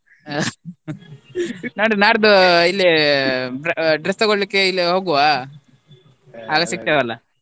ನೋಡ್ವ ನಾಡ್ಡು ಇಲ್ಲಿ dre~ dress ತಗೋಳ್ಳಿಕ್ಕೆ ಇಲ್ಲಿ ಹೋಗುವ ಸಿಕ್ತೇವೆ ಅಲ್ವಾ?